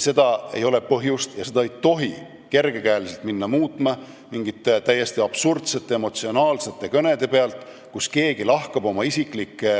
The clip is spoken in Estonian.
Seda ei ole põhjust ja seda ei tohi kergekäeliselt muuta mingite täiesti absurdsete emotsionaalsete kõnede põhjal, kus keegi lahkab oma isiklikke